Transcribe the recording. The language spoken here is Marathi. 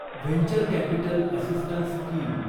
venture capital assistance scheme